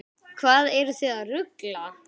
Hvað eruð þið að rugla?